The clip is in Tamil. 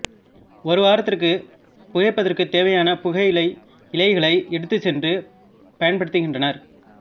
ஒரு வாரத்திற்கு புகைப்பதற்குத் தேவையான புகையிலை இலைகளை எடுத்துச் சென்று பயன்படுத்துகின்றனர்